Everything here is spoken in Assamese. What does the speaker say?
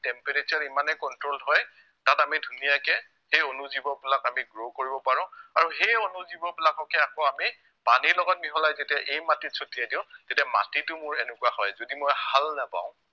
temperature ইমানেই control হয় তাত আমি ধুনীয়াকে সেই অনুজীৱবিলাক আমি grow কৰিব পাৰো আৰু সেই অনুজীৱবিলাককে আকৌ আমি পানীৰ লগত মিহলাই যেতিয়া এই মাটিত চটিয়াই দিও তেতিয়া মাটিটো মোৰ এনেকুৱা হয় যদি মই হাল নাবাও